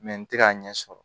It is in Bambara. n tɛ k'a ɲɛ sɔrɔ